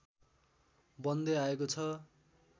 बन्दै आएको छ